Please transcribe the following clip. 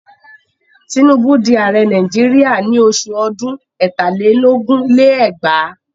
Tinubu di ààrẹ Nàìjíríà ní oṣù ọdún ẹ̀tà lé lógún lé lẹ́gbàá.